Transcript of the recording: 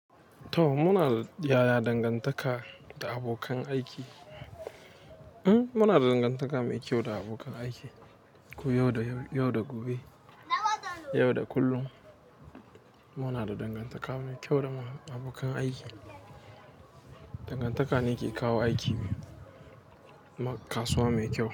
To muna yaya dangantaka da abokan aiki. Muna da dangantaka mai kyau da abokan aiki ko yau da gobe, yau da kullum muna da dangantaka mai kyau da abokan aiki. Dangantaka ne ke kawo aiki kasuwa mai kyau.